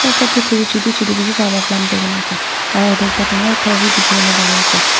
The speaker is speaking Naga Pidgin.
chutu chutu bishi bhal para plant kurigena ase aro ite dangor ghor bi dikhiwole pari ase.